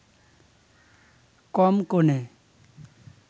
কম কোণে